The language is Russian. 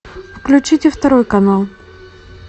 включите второй канал